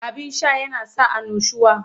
Abin sha yana sa annushuwa.